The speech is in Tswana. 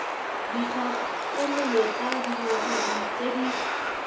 dikgakololo tsa dingaka tse di